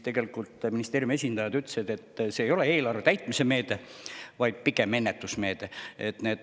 Ministeeriumi esindajad ütlesid, et see ei ole mitte eelarve täitmise meede, vaid on pigem ennetusmeede.